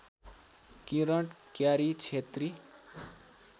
Kiran Kyari Chhetri